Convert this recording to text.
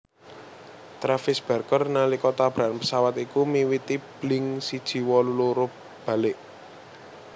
Travis Barker nalika tabrakan pésawat iku miwiti Blink siji wolu loro balik